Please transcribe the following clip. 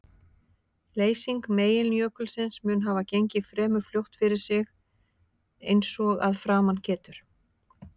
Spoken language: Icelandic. Leysing meginjökulsins mun hafa gengið fremur fljótt fyrir sig eins og að framan getur.